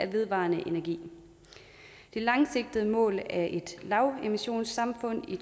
vedvarende energi det langsigtede mål er et lavemissionssamfund i